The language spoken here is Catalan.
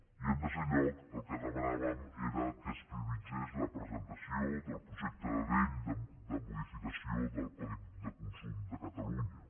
i en tercer lloc el que demanàvem era que es prioritzés la presentació del projecte de llei de modificació del codi de consum de catalunya